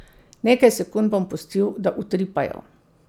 Nekaj sekund bom pustil, da utripajo.